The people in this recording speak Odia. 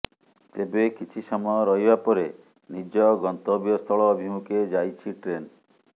ତେବେ କିଛି ସମୟ ରହିବା ପରେ ନିଜ ଗନ୍ତବ୍ୟ ସ୍ଥଳ ଅଭିମୁଖେ ଯାଇଛି ଟ୍ରେନ୍